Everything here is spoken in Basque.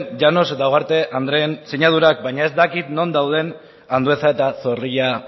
llanos eta ugarte andreen sinadurak baina ez dakit non dauden andueza eta zorrilla